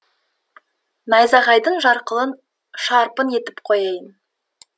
найзағайдың жарқылын шарпың етіп қояйын